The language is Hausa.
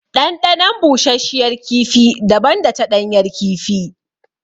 Ɗanɗanon bushashiyar kifi daban da ta ɗanyar kifi.